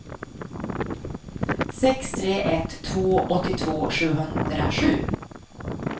sex tre ett två åttiotvå sjuhundrasju